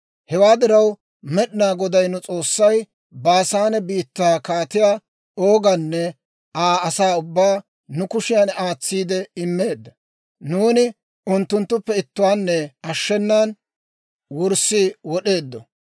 «Hewaa diraw, Med'inaa Goday nu S'oossay Baasaane biittaa Kaatiyaa Ooganne Aa asaa ubbaa nu kushiyan aatsiide immeedda; nuuni unttunttuppe ittuwaanne ashshenan wurssi wod'eeddo.